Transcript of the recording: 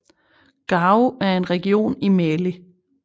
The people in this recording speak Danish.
Gao er en region i Mali